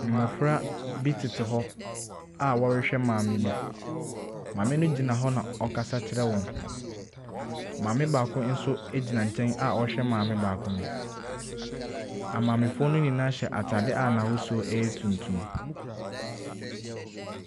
Mmofra bi tete hɔ a wɔrehwɛ maame bi. Maame no gyina hɔ na ɔkasa kyerɛ wɔn. Maame baako so egyina nkyɛn a ɔhwɛ maame baako no. Amaamefoɔ nyinaa hyɛ ataade a n'ahosuo ɛyɛ tuntum.